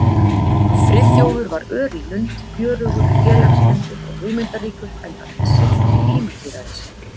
Friðþjófur var ör í lund, fjörugur, félagslyndur og hugmyndaríkur, enda vinsæll í heimahéraði sínu.